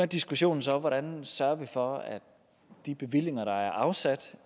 diskussionen så om hvordan vi sørger for at de bevillinger der er afsat